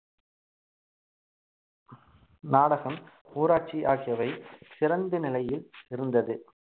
நாடகம் ஊராட்சி ஆகியவை சிறந்த நிலையில் இருந்தது